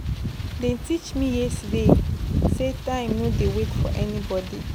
Dem teach me yesterday sey time no dey wait for anybodi.